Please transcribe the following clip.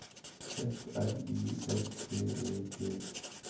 F R I S T E T